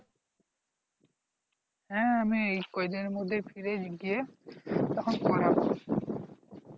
হ্যাঁ আমি কয়ে দিনের মধ্যে ফিরে গিয়ে তখন করবো